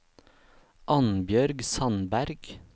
Annbjørg Sandberg